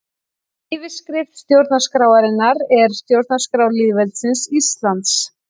Yfirskrift stjórnarskrárinnar er Stjórnarskrá lýðveldisins Íslands.